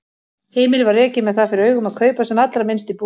Heimilið var rekið með það fyrir augum að kaupa sem allra minnst í búðum.